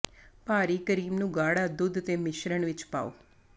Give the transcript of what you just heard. ਭਾਰੀ ਕਰੀਮ ਨੂੰ ਗਾੜਾ ਦੁੱਧ ਦੇ ਮਿਸ਼ਰਣ ਵਿੱਚ ਪਾਉ